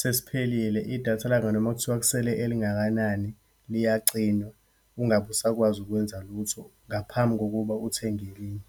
sesiphelile, idatha lakho noma kuthiwa kusele elingakanani, liyacinywa, ungabe usakwazi ukwenza lutho ngaphambi kokuba uthenge elinye.